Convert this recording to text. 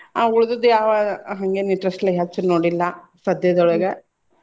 ಆ ಉಳದದ್ದು ಯಾವ್ ಹಂಗೇನ interest ಲೆ ಹಚ್ಚಿರ್ ನೋಡಿಲ್ಲ ಸದ್ಯದೊಳಗ.